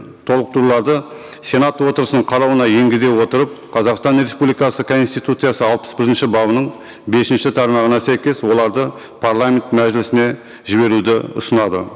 толықтыруларды сенат отырысының қарауына енгізе отырып қазақстан республикасы конституциясы алпыс бірінші бабының бесінші тармағына сәйкес оларды парламент мәжілісіне жіберуді ұсынады